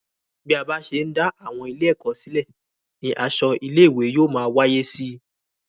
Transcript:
Bí a bá ṣe ń dá àwọn ilé-èkó silẹ ní asọ ilé-ìwé yóò máa wáyé síi